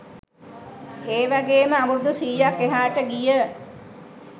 ඒවගේම අවුරුදු සීයක් එහාට ගිය